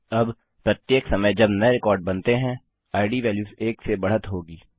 अब प्रत्येक समय नये रिकार्ड जब बनती है इद वेल्यूस एक से बढ़त होगी